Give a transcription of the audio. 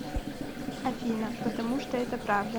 афина потому что это правда